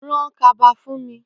Ràn kàbá fún mi